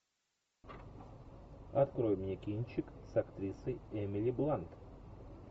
открой мне кинчик с актрисой эмили блант